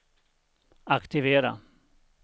aktivera